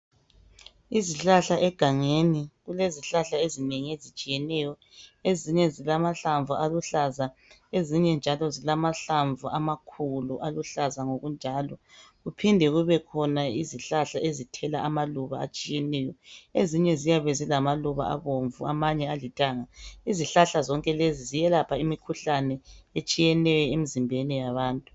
Izihlahla egangeni kulezihlahla ezinengi ezitshiyeneyo ezinye zilamahlamvu aluhlaza ezinye njalo zilamahlamvu amakhulu aluhlaza ngokunjalo kuphinde kubekhona izihlahla ezithela amaluba atshiyeneyo ezinye ziyabe zilamaluba abomvu amanye alithanga, izihlahla zonke lezi ziyelapha imikhuhlane etshiyeneyo emizimbeni yabantu.